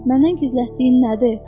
Məndən gizlətdiyin nədir?